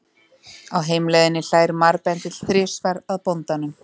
Á heimleiðinni hlær marbendill þrisvar að bóndanum.